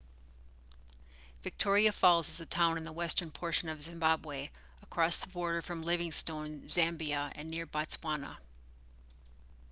victoria falls is a town in the western portion of zimbabwe across the border from livingstone zambia and near botswana